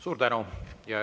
Suur tänu!